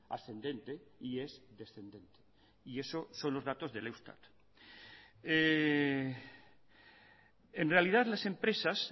ascendente y es descendente y eso son los datos del eustat en realidad las empresas